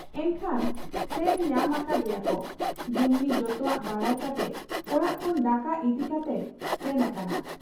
ᱮᱱᱠᱷᱟᱱ ᱥᱮᱱ ᱧᱟᱢ ᱟᱠᱟᱫ ᱮᱭᱟᱠᱚ ᱾ ᱰᱩᱢᱱᱤ ᱡᱚᱛᱚᱣᱟᱜ ᱵᱟᱰᱟᱭ ᱠᱟᱛᱮ ᱚᱲᱟᱜ ᱠᱷᱚᱱ ᱫᱟᱠᱟ ᱤᱫᱤ ᱠᱟᱛᱮᱭ ᱥᱮᱱ ᱟᱠᱟᱱᱟ ᱾